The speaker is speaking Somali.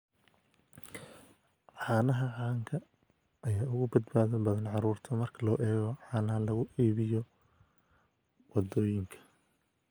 Caanaha caanka ah ayaa uga badbaado badan carruurta marka loo eego caanaha lagu iibiyo waddooyinka.